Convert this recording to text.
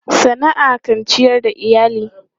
Sana'a kan ciyar da iyali.